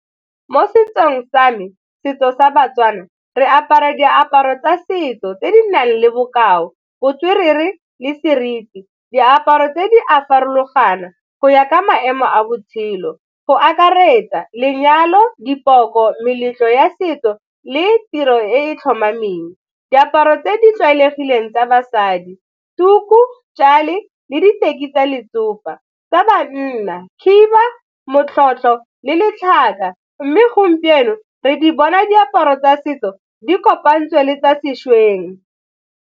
Mo setsong sa me, setso sa baTswana re apara diaparo tsa setso tse di nang le bokao, botswerere le seriti. Diaparo tse di a farologana go ya ka maemo a botshelo go akaretsa lenyalo, dipoko, meletlo ya setso le tiro e e tlhomameng. Diaparo tse di tlwaelegileng tsa basadi tuku, tšale le diteki tsa letsopa, tsa banna khiba, motlotlo le mme gompieno re di bona diaparo tsa setso di kopantsweng le tsa sešweng.